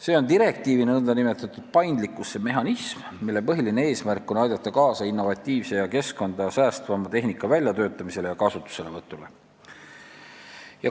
See on direktiiviga ette nähtud nn paindlikkuse mehhanism, mille põhiline eesmärk on aidata kaasa innovatiivse ja keskkonda säästvama tehnika väljatöötamisele ja kasutuselevõtule.